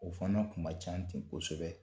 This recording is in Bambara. O fana kun ma ca ten kosɛbɛ